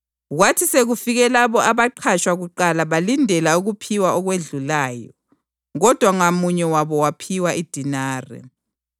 Kwathi sekufike labo abaqhatshwa kuqala balindela ukuphiwa okwedlulayo. Kodwa ngamunye wabo waphiwa idenari.